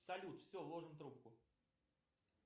салют все ложим трубку